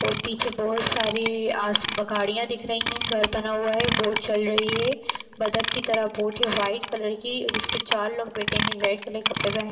और पीछे बहोत सारी आस गाड़ियां दिख रही हैं घर बना हुआ है बोट चल रही है बतक की तरह बोट है वाइट कलर की जिसमे चार लोग बैठे हैं रेड कलर के कपड़ेपहने --